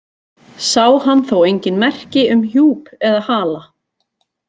Sá hann þó engin merki um hjúp eða hala.